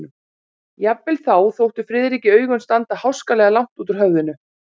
Jafnvel þá þóttu Friðriki augun standa háskalega langt út úr höfðinu.